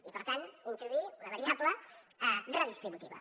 i per tant introduir una variable redistributiva